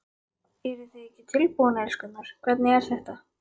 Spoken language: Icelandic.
Eruð þið ekki tilbúin, elskurnar, hvernig er þetta?